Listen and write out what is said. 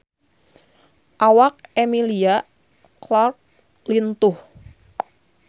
Awak Emilia Clarke lintuh